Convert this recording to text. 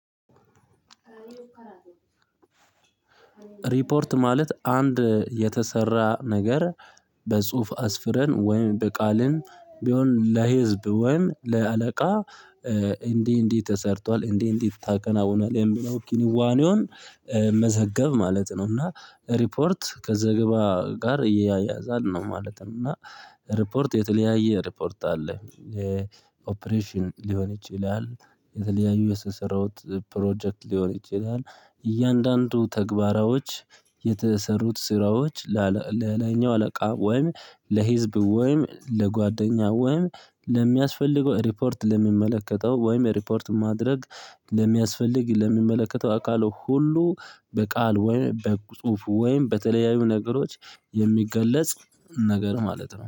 ሪፖርት ማለት አንድ የተሰራ ነገር በጽሁፍ አስፍረን ወይም በቃልን ቢሆን ለህዝብ ወይም ለአለቃ እንዲህ እንዲህ ተሰርቷል እንዲህ እንዲህ ታከናውናለህ የሚለው ኪኒዋኔውን መዘገብ ማለት ነው። እና ሪፖርት ከዘገባ ጋር ይያያዛል ነው ማለት ነው። እና ሪፖርት የተለያየ ሪፖርት አለ የኦፕሬሽን ሊሆን ይችላል። የተለያዩ የስሰረውት ፕሮጀክት ሊሆን ይችላል። እያንዳንዱ ተግባራዎች የተሰሩት ስራዎች ለለኛው አለቃ ወይም ለህዝብ ወይም ለጓደኛ ወይም ለሚያስፈልገው ሪፖርት ለሚመለከተው ወይም ሪፖርት ማድረግ ለሚያስፈልግ ለሚመለከተው አካሉ ሁሉ በቃል ወይም በጽሁፍ ወይም በተለያዩ ነገሮች የሚገለጽ ነገር ማለት ነው